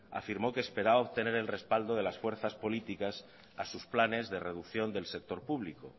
afirmó que esperaba obtener el respaldo de las fuerzas políticas a sus planes de reducción del sector público